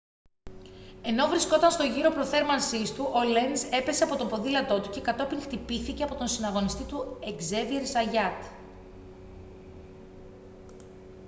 ενώ βρισκόταν στον γύρο προθέρμανσής του ο λένζ έπεσε από το ποδήλατό του και κατόπιν χτυπήθηκε από τον συναγωνιστή του εκζέβιερ ζαγιάτ